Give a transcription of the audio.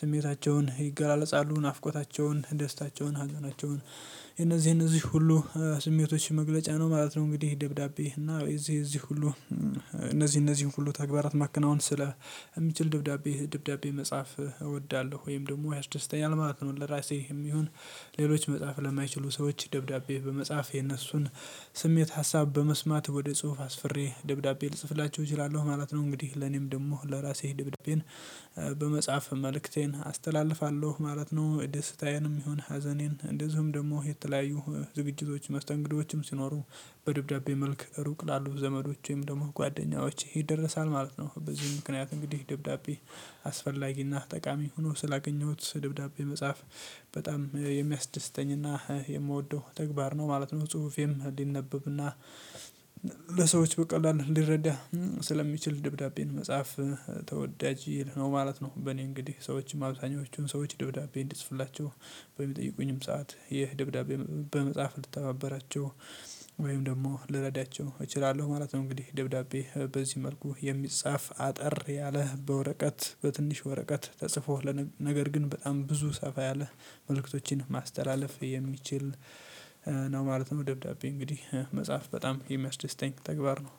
ስሜታቸውን ይገላለጻሉ ናፍቆታቸውን ደስታቸውን ሀዘናቸውን የነዚህ የነዚህ ሁሉ ስሜቶች መግለጫ ነው ማለት ነው እንግዲህ ደብዳቤ እና እዚህ እዚህ ሁሉ እነዚህ እነዚህን ሁሉ ተግባራት ማከናወን ስለ ሚችል ድብዳቤ ድብዳቤ መጽሐፍ እወዳለሁ ወይም ደግሞ ያስደስተኛል ማለት ነው ለራሴ የሚሆን ሌሎች መጽሐፍ ለማይችሉ ሰዎች ደብዳቤ በመጻፍ የነሱን ስሜት ሀሳብ በመስማት ወደ ጽሁፍ አስፍሬ ደብዳቤ ልጽፍላቸው እችላለሁ ማለት ነው። እንግዲህ ለኔም ደግሞ ለራሴ ድብድቤን በመጽሐፍ መልእክቴን አስተላልፋለሁ ማለት ነው ደስታዬንም ይሁን ሀዘኔን እንደዚሁም ደግሞ የተለያዩ ዝግጅቶች መስተንግዶችም ሲኖሩ በደብዳቤ መልክ ሩቅ ላሉ ዘመዶች ወይም ደግሞ ጓደኛዎቼ ይደረሳል ማለት ነው። በዚህ ምክንያት እንግዲህ ደብዳቤ አስፈላጊና ጠቃሚ ሆኖ ስላገኘሁት ደብዳቤ መጽሐፍ በጣም የሚያስደስተኝና የምወደው ተግባር ነው ማለት ነው ጽሁፌም ሊነበብና ለሰዎች በቀላሉ ሊረዳ ስለሚችል ደብዳቤን መጽሐፍ ተወዳጅ ነው ማለት ነው። በእኔ እንግዲህ ሰዎችም አብዛኞቹን ሰዎች ደብዳቤ እንድጽፍላቸው በሚጠይቁኝም ሰዓት ይህ ደብዳቤ በመጽሐፍ ልተባበራቸው ወይም ደግሞ ልረዳቸው እችላለሁ ማለት ነው እንግዲህ ደብዳቤ በዚህ መልኩ የሚጻፍ አጠር ያለ በወረቀት በትንሽ ወረቀት ተጽፎ ነገር ግን በጣም ብዙ ሰፋ ያለ መልእክቶችን ማስተላለፍ የሚችል ነው ማለት ነው። ደብዳቤ እንግዲህ መጻፍ በጣም የሚያስደስተኝ ተግባር ነው።